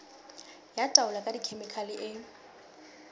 ya taolo ka dikhemikhale e